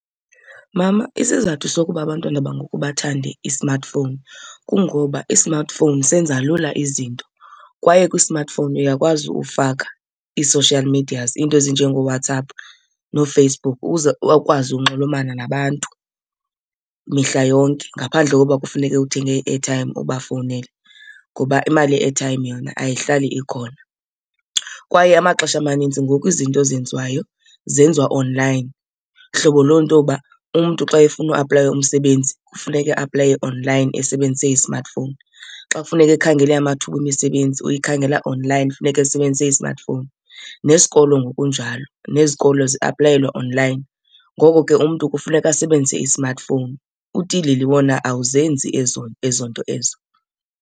Mama, isizathu sokuba abantwana bangoku bathande i-smartphone kungoba i-smartphone senza lula izinto. Kwaye kwi-smartphone uyakwazi ufaka ii-social medias, iinto ezinjengooWhatsApp nooFacebook ukuze bakwazi unxulumana nabantu mihla yonke ngaphandle kokuba kufuneke uthenge i-airtime ubafowunele ngoba imali ye-airtime yona ayihlali ikhona. Kwaye amaxesha amanintsi ngoku izinto ezenziwayo zenziwa online, hlobo loo nto yoba umntu xa efuna uaplayela umsebenzi kufuneke eaplaye online esebenzise i-smartphone. Xa kufuneka ekhangele amathuba emisebenzi uyikhangela online, funeka esebenzise i-smartphone. Nesikolo ngokunjalo, nezikolo ziaplayelwa online, ngoko ke umntu kufuneka asebenzise i-smartphone. Utilili wona awuzenzi ezo ezo nto ezo.